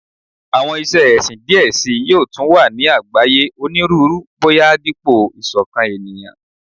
Awọn iṣe ẹsin diẹ sii yoo tun wa ni agbaye Oniruuru boya dipo isokan eniyan